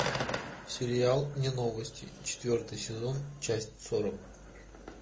сериал не новости четвертый сезон часть сорок